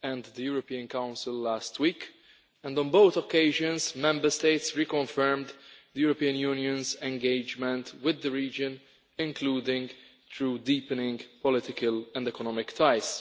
and the European Council last week, and on both occasions Member States reconfirmed the European Union's engagement with the region, including through deepening political and the economic ties.